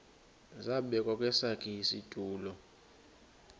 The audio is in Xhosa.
zabekwa kwesakhe isitulo